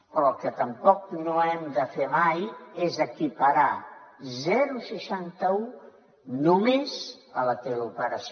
però el que tampoc no hem de fer mai és equiparar seixanta un només a la teleoperació